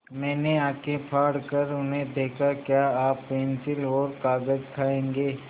मैंने आँखें फाड़ कर उन्हें देखा क्या आप पेन्सिल और कागज़ खाएँगे